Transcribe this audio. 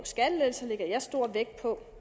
skattelettelser lægger jeg stor vægt på